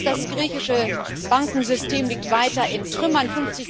Drittens Das griechische Bankensystem liegt weiter in Trümmern.